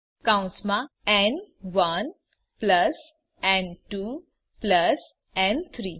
કૌંસમાં ન1 પ્લસ ન2 પ્લસ ન3